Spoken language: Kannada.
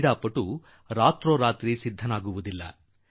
ಕ್ರೀಡಾಪಟುಗಳು ಒಮ್ಮೆಗೆ ಒಂದು ರಾತ್ರಿಯಲ್ಲಿ ತಯಾರಾಗಿ ಬಿಡುವುದಿಲ್ಲ